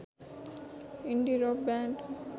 इन्डी rock band